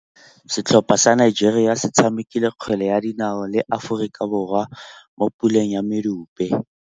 Setlhopha sa Nigeria se tshamekile kgwele ya dinaô le Aforika Borwa mo puleng ya medupe.